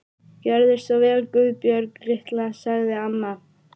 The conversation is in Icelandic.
Gjörðu svo vel Guðbjörg litla, sagði amma.